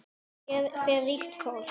Hér fer ríkt fólk.